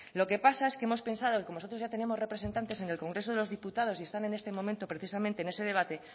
lo que pasa es que hemos pensado que como nosotros ya tenemos representantes en el congreso de los diputados y están en este momento precisamente en ese debate